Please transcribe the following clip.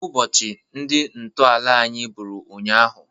Ụbọchị ndị ntọala anyị bụrụ ụnyaahụ.